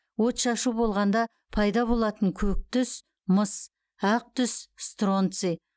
отшашу болғанда пайда болатын көк түс мыс ақ түс стронций